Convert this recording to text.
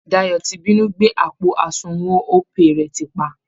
Dayọ ti binú gbé àpò àsunwọ̀n Opay rẹ̀ tìpa